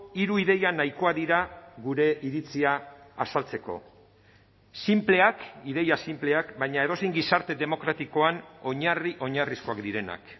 hiru ideia nahikoak dira gure iritzia azaltzeko sinpleak ideia sinpleak baina edozein gizarte demokratikoan oinarri oinarrizkoak direnak